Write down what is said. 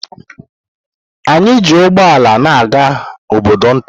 Anyị ji ụgbọala na-aga obodo nta.